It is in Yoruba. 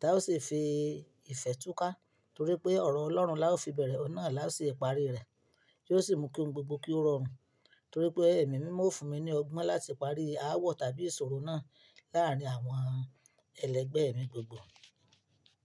tá ó sì fi ìfẹ́ túká torí pé ọ̀rọ̀ Ọlọ́run la ó fi bẹ̀rẹ̀ ọ́un náà la ó sì parí rẹ̀ tí ó sì mú kí ohun gbogbo kí ó rọrùn torí pé Èmi mímọ́ o fún mi ní ọgbọ́n láti parí aáwọ̀ tàbí ìṣòro náà láárín àwọn ẹlẹgbẹ́ mi gbogbo.